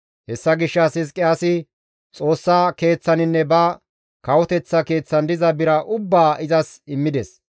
Hessa gishshas Hizqiyaasi Xoossa Keeththaninne ba kawoteththa keeththan diza bira ubbaa izas immides.